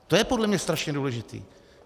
To je podle mě strašně důležité.